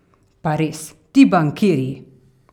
Pa res, ti bankirji!